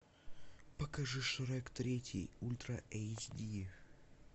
покажи шрек третий ультра эйч ди